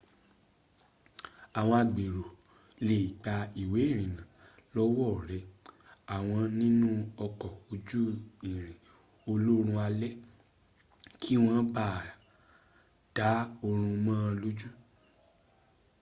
àwọn agbèrò lè gba ìwé ìrìnnà lọ́wọ́ rẹ àwọn nínú ọkọ̀ ojú irin olóorun alẹ̀ kí wọ́n má ba à dá oorun mọ́ ọ lójú